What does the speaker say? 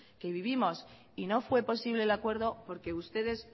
que vivimos y no fue posible el acuerdo porque ustedes